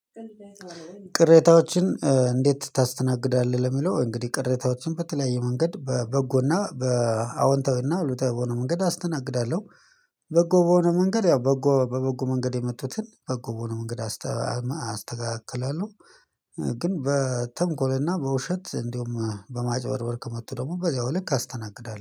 ቅሬታዎችን እንዴት ታስተናግዳለህ? ለሚለው እንግዲህ ቅሬታዎችን በተለያየ መንገድ በበጎና በአዎንታዊና አሉታዊ በሆነ መንገድ አስተናግዳለሁ በጎ በሆነ መንገድ ያው በጎ በበጎ መንገድ የመጡትን በበጎ በሆነ መንገድ አስተካክላለሁ ግን በተንኮልና በውሸት እንዲሁም በማጭበርበር ከመጡ ደግሞ በዚያው ልክ አስተናግዳለሁ